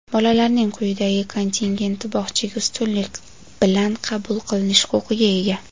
Bolalarning quyidagi kontingenti bog‘chaga ustunlik bilan qabul qilinish huquqiga ega:.